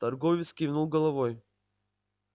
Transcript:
торговец кивнул головой